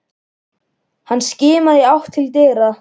Hann skimaði í átt til dyra.